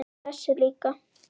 Þessi líka